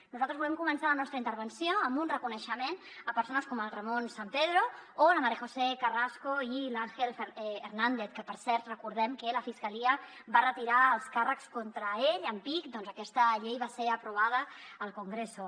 nosaltres volem començar la nostra intervenció amb un reconeixement a persones com el ramón sampedro o la maría josé carrasco i l’ángel hernández que per cert recordem que la fiscalia va retirar els càrrecs contra ells en pic doncs que aquesta llei va ser aprovada al congreso